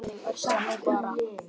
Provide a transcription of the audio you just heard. Þannig er það nú bara.